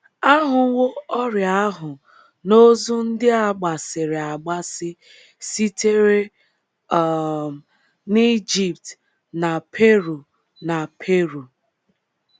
A hụwo ọrịa ahụ n’ozu ndị a gbasiri agbasi sitere um n’Ijipt na Peru na Peru.